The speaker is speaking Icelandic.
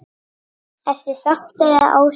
Ertu sáttur eða ósáttur?